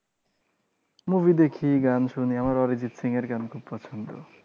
movie দেখি, গান শুনি। আমার অরিজিৎ সিং এর গান খুব পছন্দ।